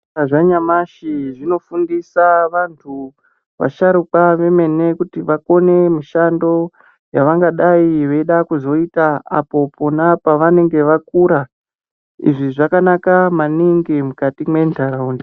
Zvikora zvanyamashi zvinofundisa vanthu, vasharuka vemene kuti vakone mishando, yavangadai veida kuzoita apo pona pavanenge vakura. Izvi zvakanaka maningi mukati mwentharaunda.